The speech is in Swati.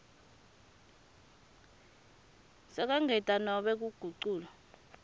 sekwengetwa nobe kuguculwa